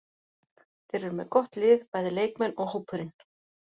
Þeir eru með gott lið, bæði leikmenn og hópurinn.